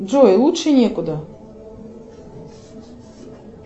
джой лучше некуда